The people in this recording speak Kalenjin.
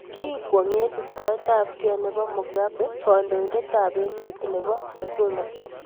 kiegu kwonget isitoetabkei nebo mugabe kondoindet ab emee nebo ab Zuma